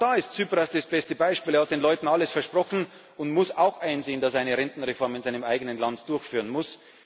Auch da ist Tsipras das beste Beispiel. Er hat den Leuten alles versprochen und muss auch einsehen, dass er eine Rentenreform in seinem eigenen Land durchführen muss.